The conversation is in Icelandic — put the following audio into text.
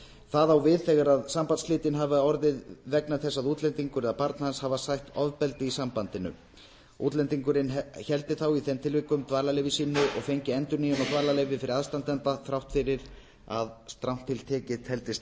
það á við þegar sambandsslitin hafa orðið vegna þess að útlendingur eða barn hans hefur sætt ofbeldi í sambandinu útlendingurinn héldi þá í þeim tilvikum dvalarleyfi sínu og fengi endurnýjun á dvalarleyfi fyrir aðstandanda þrátt fyrir að strangt til tekið teldist